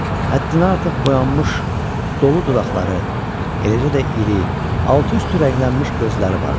Həddindən artıq boyanmış, dolu dodaqları, eləcə də iri, altı-üstü rənglənmiş gözləri vardı.